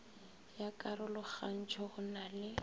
ya karogantšho go na le